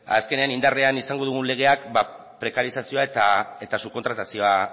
azkenean indarrean izango dugun legeak prekarizazioa eta subkontratazioa